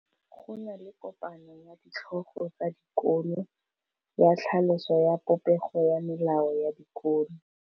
Go na le kopanô ya ditlhogo tsa dikolo ya tlhaloso ya popêgô ya melao ya dikolo.